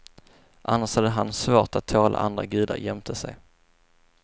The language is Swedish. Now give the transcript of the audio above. Annars hade han svårt att tåla andra gudar jämte sig.